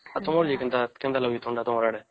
ତମର ଯେ କେନ୍ତା ଲାଗୁଛେ ଥଣ୍ଡା ତମର ଆଡେ